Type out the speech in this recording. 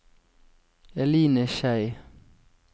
Eline Schei